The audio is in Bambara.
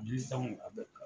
Bilisanw ka bɛɛn bila.